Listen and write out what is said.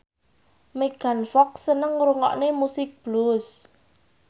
Megan Fox seneng ngrungokne musik blues